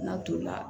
N'a tolila